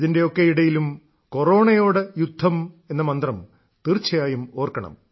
ഇതിന്റെയൊക്കെ ഇടയിലും കൊറോണയോട് യുദ്ധം എന്ന മന്ത്രം തീർച്ചയായും ഓർക്കണം